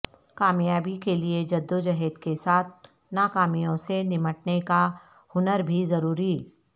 کامیابی کیلئے جدوجہد کے ساتھ ناکامیوں سے نمٹنے کا ہنر بھی ضروری